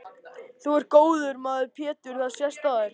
Þú ert góður maður Pétur það sést á þér.